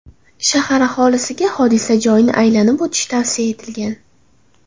Shahar aholisiga hodisa joyini aylanib o‘tish tavsiya etilgan.